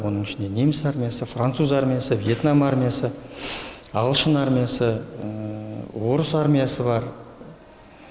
оның ішінде неміс армиясы француз армиясы въетнам армиясы ағылшын армиясы орыс армиясы бар